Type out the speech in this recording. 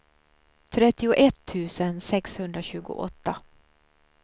trettioett tusen sexhundratjugoåtta